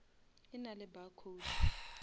e na le barcode